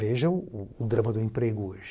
Vejam o drama do emprego hoje.